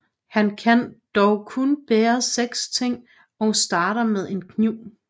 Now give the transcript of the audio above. Han kan dog kun bære seks ting og starter med en kniv